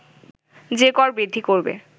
যে কর বৃদ্ধি করবে